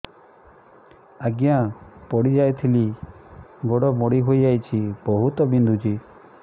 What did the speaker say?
ଆଜ୍ଞା ପଡିଯାଇଥିଲି ଗୋଡ଼ ମୋଡ଼ି ହାଇଯାଇଛି ବହୁତ ବିନ୍ଧୁଛି